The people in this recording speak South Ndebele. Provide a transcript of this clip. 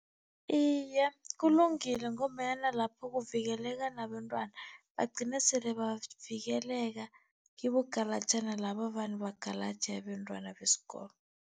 Iye, kulungile ngombanyana lapho kuvikeleka nabentwana, bagcine sele bavikeleka kibogalajana laba avane bagalaje abentwana besikolo.